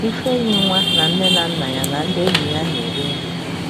Ifeyinwa na nne na nna ya na ndị enyi ya na-eri nri.